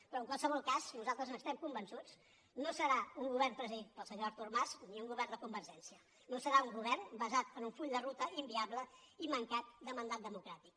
però en qualsevol cas nosaltres n’estem convençuts no serà un govern presidit pel senyor artur mas ni un govern de convergència no serà un govern basat en un full de ruta inviable i mancat de mandat democràtic